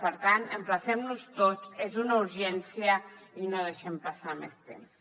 per tant emplacem nos hi tots és una urgència i no deixem passar més temps